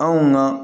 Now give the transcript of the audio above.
Anw na